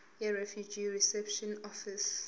yirefugee reception office